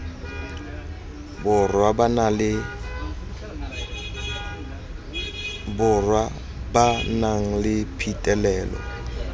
borwa ba nang le phitlhelelo